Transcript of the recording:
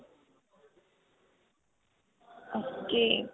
ok.